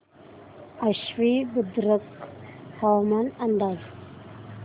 आश्वी बुद्रुक हवामान अंदाज